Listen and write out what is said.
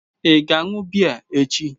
Ị ga-aṅụ biya echi?